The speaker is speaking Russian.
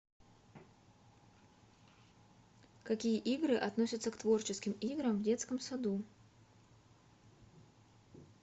какие игры относятся к творческим играм в детском саду